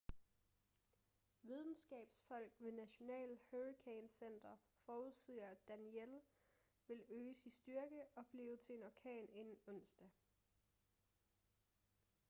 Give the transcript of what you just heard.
videnskabsfolk ved national hurricane center forudsiger at danielle vil øges i styrke og blive til en orkan inden onsdag